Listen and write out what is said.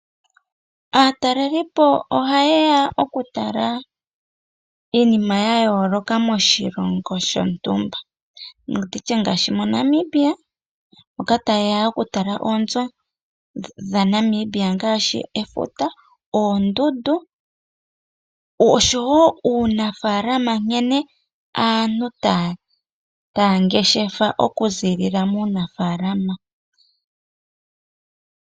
Aatalelipo ohaye ya okutala iinima ya yooloka moshilongo shontumba, ngaashi moNamibia moka taye ya okutala oonzo dhaNamibia ngaashi efuta, oondundu oshowo uunafaalama nkene aantu taya ngeshefa okuziilila muunafaalama.